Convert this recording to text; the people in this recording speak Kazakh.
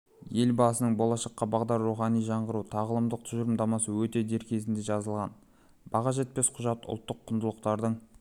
елбасының болашаққа бағдар рухани жаңғыру тағылымдық тұжырымдамасы өте дер кезінде жазылған баға жетпес құжат ұлттық құндылықтардың